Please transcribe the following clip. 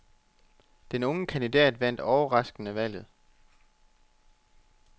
Den unge kandidat vandt overraskende valget.